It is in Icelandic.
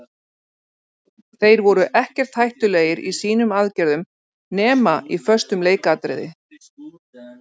Þeir voru ekkert hættulegir í sínum aðgerðum nema í föstum leikatriði.